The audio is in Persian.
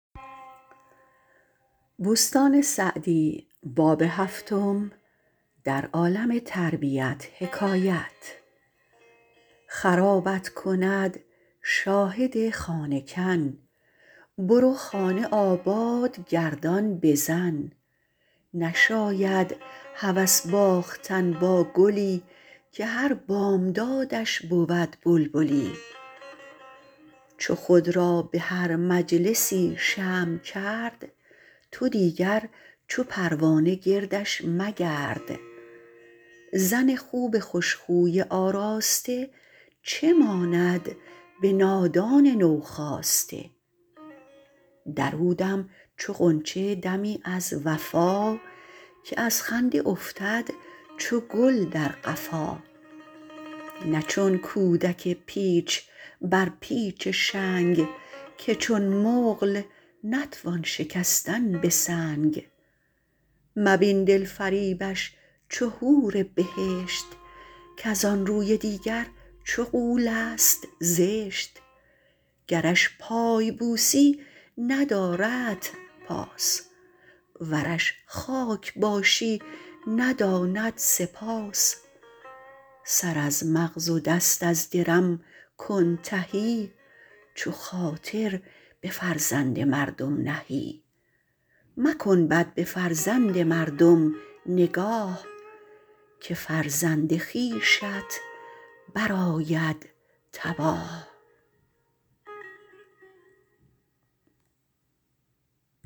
خرابت کند شاهد خانه کن برو خانه آباد گردان به زن نشاید هوس باختن با گلی که هر بامدادش بود بلبلی چو خود را به هر مجلسی شمع کرد تو دیگر چو پروانه گردش مگرد زن خوب خوش خوی آراسته چه ماند به نادان نو خاسته در او دم چو غنچه دمی از وفا که از خنده افتد چو گل در قفا نه چون کودک پیچ بر پیچ شنگ که چون مقل نتوان شکستن به سنگ مبین دلفریبش چو حور بهشت کز آن روی دیگر چو غول است زشت گرش پای بوسی نداردت پاس ورش خاک باشی نداند سپاس سر از مغز و دست از درم کن تهی چو خاطر به فرزند مردم نهی مکن بد به فرزند مردم نگاه که فرزند خویشت برآید تباه